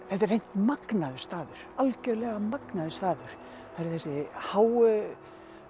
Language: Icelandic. þetta er hreint magnaður staður algjörlega magnaður staður það eru þessi háu